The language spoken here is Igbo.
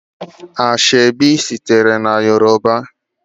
Ashọebi sitere na Yoruba.